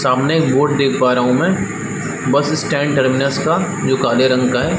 सामने एक बोर्ड देख पा रहा हूँ मैं बस स्टैंड टर्मिनल्स का जो काले रंग का है।